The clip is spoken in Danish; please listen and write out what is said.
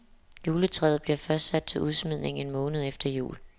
Juletræet bliver først sat til udsmidning en måned efter jul.